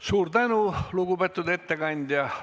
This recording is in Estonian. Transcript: Suur tänu, lugupeetud ettekandja!